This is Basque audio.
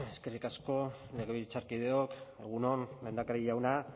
eskerrik asko legebiltzarkideok egun on lehendakari jauna